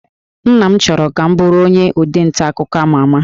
Nna m chọrọ ka m bụrụ onye ode nta akụkọ ama ama